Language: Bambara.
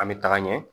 An bɛ taga ɲɛ